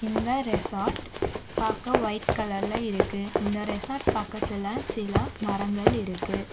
இந்த ரெசார்ட் பாக்க ஒயிட் கலர்ல இருக்கு இந்த ரெசார்ட் பக்கத்துல சில மரங்கள் இருக்கு.